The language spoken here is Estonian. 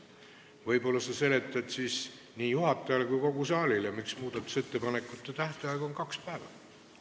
Võib-olla sa seletad siis nii juhatajale kui ka kogu saalile, miks muudatusettepanekute esitamise tähtaeg on kaks päeva?